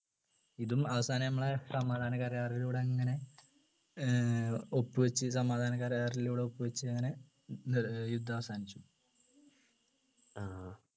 ഇതും അവസാനം നമ്മളെ സമാധാന കരാറിലൂടെ അങ്ങനെ ഏർ ഒപ്പു വച്ച് സമാധാന കരാറിലൂടെ ഒപ്പു വച്ച് അങ്ങനെ ഏർ യുദ്ധം അവസാനിപ്പിച്ചു